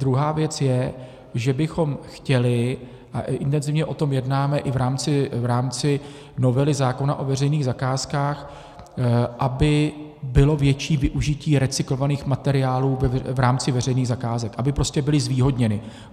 druhá věc je, že bychom chtěli, a intenzivně o tom jednáme i v rámci novely zákona o veřejných zakázkách, aby bylo větší využití recyklovaných materiálu v rámci veřejných zakázek, aby prostě byly zvýhodněny.